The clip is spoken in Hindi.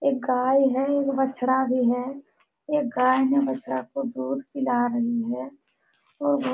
एक गाय है। बछड़ा भी है। एक गाय ने बछड़ा को दूध पीला रही है। वो --